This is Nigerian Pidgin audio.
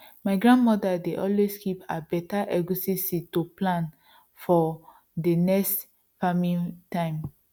my grandmother dey always keep her beta egusi seed to plant for dey next farming time